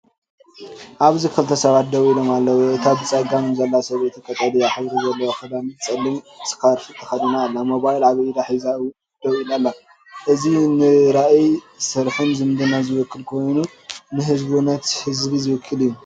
ኣብዚ ክልተ ሰባት ደው ኢሎም ኣለዉ። እታ ብጸጋም ዘላ ሰበይቲ ቀጠልያ ሕብሪ ዘለዎ ክዳንን ጸሊም ስካርፍን ተኸዲና ኣላ። ሞባይል ኣብ ኢዳ ሒዛ ደው ኢላ ኣላ። እዚ ንራእይ ስራሕን ዝምድናን ዝውክል ኮይኑ፡ ንህቡብነት ህዝቢ ዝውክል እዩ።